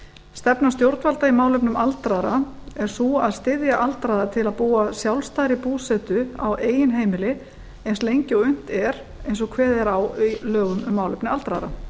stefna stjórnvalda í málefnum aldraðra er sú að styðja aldraða til að búa sjálfstæðri búsetu á eigin heimili eins lengi og unnt er eins og kveðið er á um í málefnum aldraðra